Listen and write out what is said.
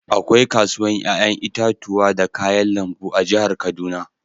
Akwai kasuwan yayan itatuwa da kayan lambu a'jihar Kaduna.